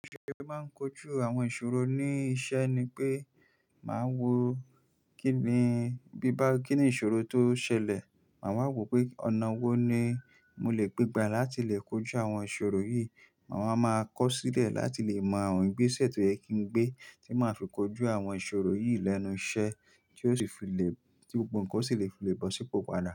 Bi mo se máa ń kojú àwọn ìṣòro ní iṣẹ́ ni pé màá wo kíni bí bá kíni ìṣòro tó ṣẹlẹ̀, màá wò pé ọ̀nà wo ni mo lè gbégbá láti lè kojú àwọn ìṣòro yìí. Màá wá maa kọ sílẹ̀ láti lè mọ àwọn ìgbésẹ̀ tó yẹ kí n gbé tí máa fi kojú àwọn ìṣòro yìí lẹ́nu iṣẹ́ tí ó sì fi lè tí gbogbo ǹkan sì lè fi lè bọ̀ sípò padà.